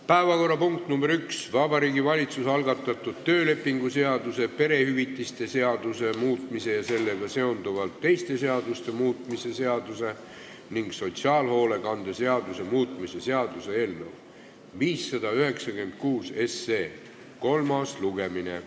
Päevakorrapunkt nr 1: Vabariigi Valitsuse algatatud töölepingu seaduse, perehüvitiste seaduse muutmise ja sellega seonduvalt teiste seaduste muutmise seaduse ning sotsiaalhoolekande seaduse muutmise seaduse eelnõu 596 kolmas lugemine.